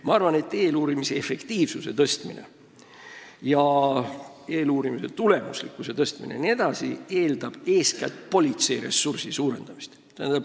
Ma arvan, et eeluurimise efektiivsuse ja tulemuslikkuse tõstmine eeldab eeskätt politseiressursi suurendamist.